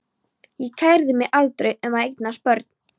Ég kærði mig aldrei um að eignast börn.